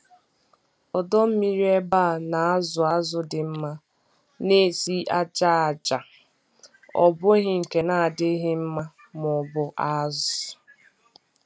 Ọdọ mmiri ebe a na-azụ azụ dị mma na-esi ájá aja, ọ bụghị nke na-adịghị mma maọbụ azụ.